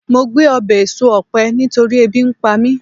mo gbe obe eso òpe nitori ebi npa mi